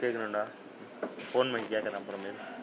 கேட்கணும்டா phone பண்ணி கேக்குறன் அப்புறமேல்.